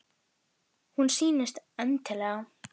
Hún sýndist: eðlileg.